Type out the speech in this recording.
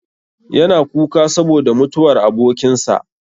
Yana kuka saboda mutuwar abokin sa.